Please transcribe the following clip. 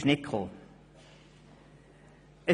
Die Verwaltungsrätin blieb der Sitzung fern.